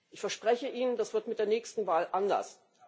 Ich verspreche Ihnen, das wird mit der nächsten Wahl anders.